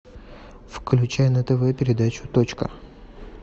включай на тв передачу точка